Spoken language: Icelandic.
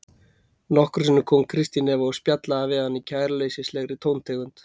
Nokkrum sinnum kom Kristín Eva og spjallaði við hann í kæruleysislegri tóntegund.